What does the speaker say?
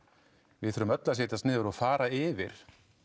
við þurfum öll að setjast niður og fara yfir